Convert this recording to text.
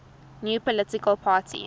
new political party